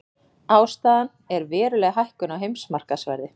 Ástæðan er veruleg hækkun á heimsmarkaðsverði